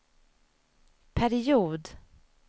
period